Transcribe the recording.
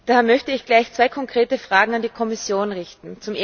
Daher ich möchte gleich zwei konkrete Fragen an die Kommission richten.